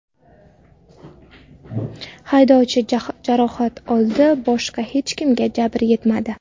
Haydovchi jarohat oldi, boshqa hech kimga jabr yetmadi.